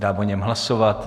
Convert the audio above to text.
Dám o něm hlasovat.